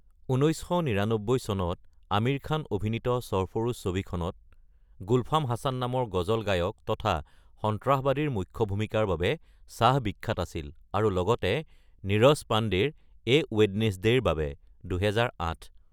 ১৯৯৯ চনত আমীৰ খান অভিনীত ছৰফৰোচ ছবিখনত গুল্ফাম হাছান নামৰ গজল গায়ক তথা সন্ত্ৰাসবাদীৰ মূখ্য ভূমিকাৰ বাবে শ্বাহ বিখ্যাত আছিল আৰু লগতে নীৰজ পাণ্ডেৰ এ ৱেডনেজদেৰ বাবে (২০০৮)।